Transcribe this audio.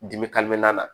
Dimi na